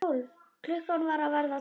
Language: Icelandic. Klukkan var að verða tólf.